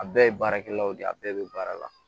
A bɛɛ ye baarakɛlaw de ye a bɛɛ bɛ baara la